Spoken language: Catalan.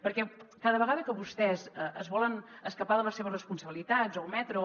perquè cada vegada que vostès es volen escapar de les seves responsabilitats o ometre o